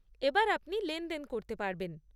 এবার আপনি লেনদেন করতে পারবেন।